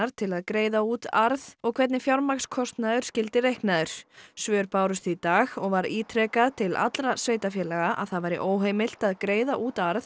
til að greiða út arð og hvernig fjármagnskostnaður skyldi reiknaður svör bárust í dag og var ítrekað til allra sveitarfélaga að það væri óheimilt að greiða út arð